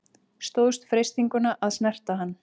Stóðst freistinguna að snerta hann